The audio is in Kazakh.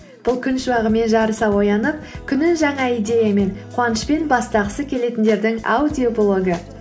бұл күн шуағымен жарыса оянып күнін жаңа идеямен қуанышпен бастағысы келетіндердің аудиоблогы